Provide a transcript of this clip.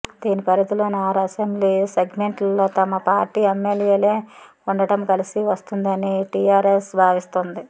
దీని పరిధిలోని ఆరు అసెంబ్లీ సెగ్మెంట్లలో తమ పార్టీ ఎమ్మెల్యేలే ఉండడం కలిసి వస్తుందని టీఆర్ఎస్ భావిస్తోంది